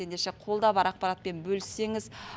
ендеше қолда бар ақпаратпен бөліссеңіз